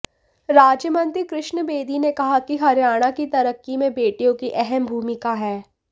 राज्यमंत्री कृष्ण बेदी ने कहा कि हरियाणा की तरक्की में बेटियों की अहम भूमिका है